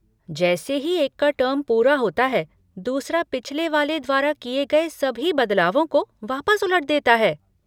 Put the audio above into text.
जैसे ही एक का टर्म पूरा होता है, दूसरा पिछले वाले द्वारा किए गए सभी भी बदलावों को वापस उलट देता है।